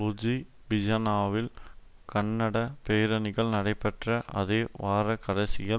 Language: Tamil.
லுஜூபிஜனாவில் கண்டன பேரணிகள் நடைபெற்ற அதே வார கடைசியில்